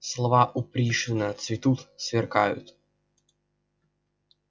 слова у пришвина цветут сверкают